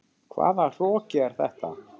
Hvaða hroki er þetta?